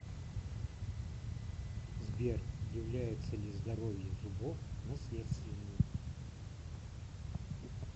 сбер является ли здоровье зубов наследственным